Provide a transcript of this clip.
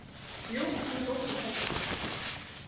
Jú, hún er ósköp falleg.